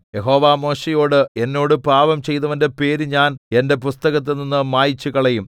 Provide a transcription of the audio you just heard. യഹോവ മോശെയോട് എന്നോട് പാപം ചെയ്തവന്റെ പേര് ഞാൻ എന്റെ പുസ്തകത്തിൽനിന്ന് മായിച്ചുകളയും